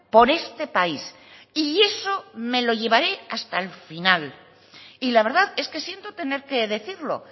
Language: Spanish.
por este país y eso me lo llevaré hasta el final y la verdad es que siento tener que decirlo